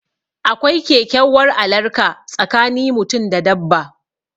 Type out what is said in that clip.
Akwai kekyauwar alarka tsakani mutum da dabba